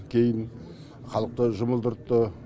кейін халықты жұмылдыртты